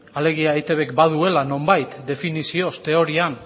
alegia eitbk baduela nonbait definizioz teorian